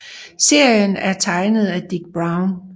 Serien er tegnet af Dik Browne